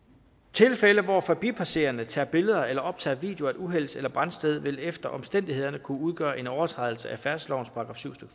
tilfælde hvor forbipasserende tager billeder eller optager video af et uhelds eller brandsted vil efter omstændighederne kunne udgøre en overtrædelse af færdselslovens § syv